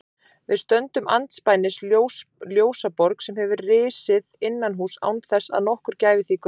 Við stöndum andspænis ljósaborg sem hefur risið innanhúss án þess að nokkur gæfi því gaum.